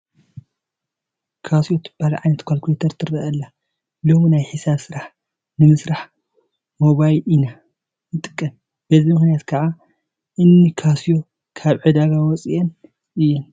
ካስዮ ትበሃል ዓይነት ዃልኩሌተር ትርአ ኣላ፡፡ ሎሚ ናይ ሒሳብ ስራሕ ንምስራሕ ሞባይል ኢና ንጥቀም፡፡ በዚ ምኽንያት ከዓ እኒ ካስዮ ካብ ዕዳጋ ወፂአን እየን፡፡